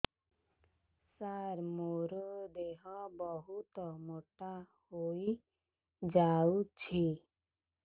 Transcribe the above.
ସାର ମୋର ଦେହ ବହୁତ ମୋଟା ହୋଇଯାଉଛି